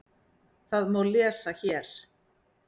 Það má lesa hér.